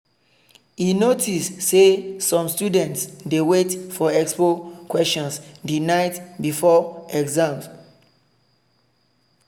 e notice say some students dey wait for expo questions the night before exam.